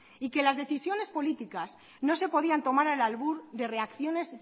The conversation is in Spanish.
y que las decisiones políticas no se podían tomar al albur de reacciones